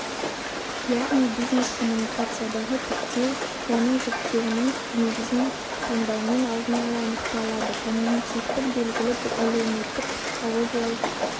яғни бизнес-коммуникациядағы типтеу оның жіктеуінің негізін таңдаумен алдын ала анықталады когнитивтік белгілік әлеуметтік-психологиялық